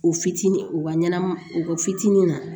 U fitinin u ka ɲɛnama u ka fitinin na